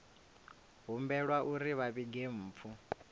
humbelwa uri vha vhige mpfu